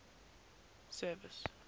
service